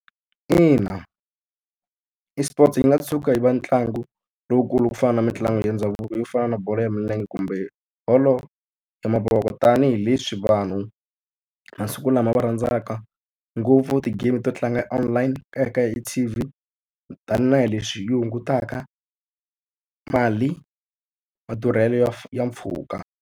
Ina eSports yi nga tshuka yi ve ntlangu lowukulu ku fana na mitlangu ya ndhavuko yo fana na bolo ya milenge kumbe bolo ya mavoko, tanihileswi vanhu masiku lama va rhandzaka ngopfu ti-game to tlanga online eka T_V. Tanihi leswi yi hungutaka mali madurhelo ya ya mpfhuka.